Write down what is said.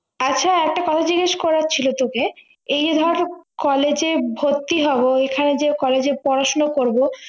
আচ্ছা একটা কথা জিজ্ঞেস করার ছিল তোকে এই যে ধর college এ ভর্তি হবো এখানে যে college এ পড়াশুনা করবো